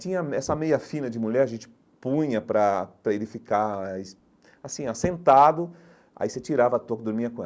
Tinha me essa meia fina de mulher, a gente punha para para ele ficar eh, assim, assentado, aí você tirava a toca e dormia com ela.